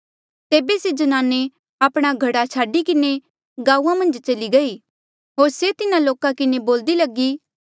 तेबे से ज्नाने आपणा घड़ा छाडी किन्हें गांऊँआं मन्झ चल्ली गयी होर से लोका किन्हें बोल्दी लगी